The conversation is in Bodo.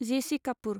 जे.सि. कापुर